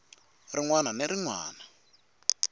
rin wana ni rin wana